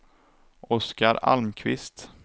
Oscar Almqvist